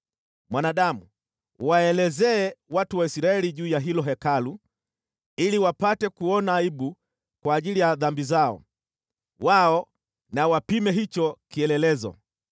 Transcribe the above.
“Mwanadamu, elezea hilo Hekalu kwa watu wa Israeli, ili wapate kuona aibu kwa ajili ya dhambi zao. Wao na wapime hicho kielelezo.